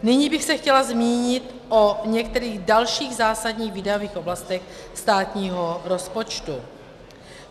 Nyní bych se chtěla zmínit o některých dalších zásadních výdajových oblastech státního rozpočtu.